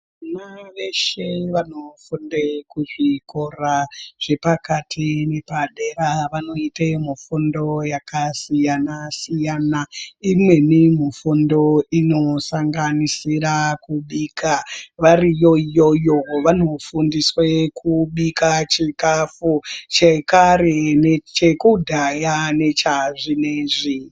Vana veshe vanofunde kuzvikora zvepakati nepadera ,vanoite mufundo yakasiyana-siyana. Imweni mufundo inosanganisira kubika. Variyo iyoyo vanofundiswe kubika chikhafu, chekare nechekudhaya nechazvinezvi.